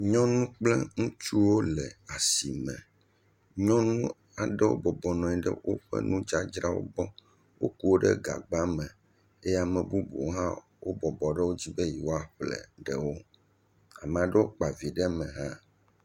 Nyɔnuwo kple ŋutsuwo le asime. Nyɔnu aɖewo bɔbɔ nɔ anyi ɖe woƒe nudzadzrawo gbɔ. Woku wo ɖe gagba me eye ame bubuwo hã wobɔbɔ ɖe wo dzi be yewoaƒle ɖewo. Ame aɖewo kpa vi ɖe me hã.